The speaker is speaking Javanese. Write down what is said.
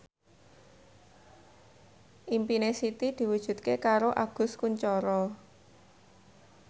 impine Siti diwujudke karo Agus Kuncoro